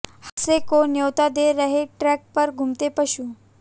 हादसे को न्योता दे रहे ट्रैक पर घूमते पशु